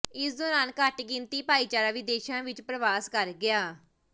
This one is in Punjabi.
ਇਸ ਦੌਰਾਨ ਘੱਟ ਗਿਣਤੀ ਭਾਈਚਾਰਾ ਵਿਦੇਸ਼ਾਂ ਵਿੱਚ ਪਰਵਾਸ ਕਰ ਗਿਆ